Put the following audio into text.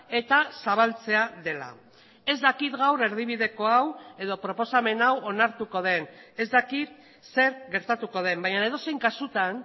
eta zabaltzea dela ez dakit gaur erdibideko hau edo proposamen hau onartuko den ez dakit zer gertatuko den baina edozein kasutan